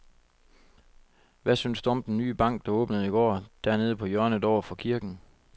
Hvad synes du om den nye bank, der åbnede i går dernede på hjørnet over for kirken?